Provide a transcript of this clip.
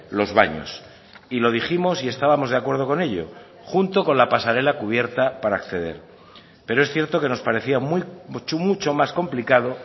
los baños y lo dijimos y estábamos de acuerdo con ello junto con la pasarela cubierta para acceder pero es cierto que nos parecía muy mucho más complicado